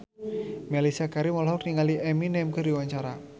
Mellisa Karim olohok ningali Eminem keur diwawancara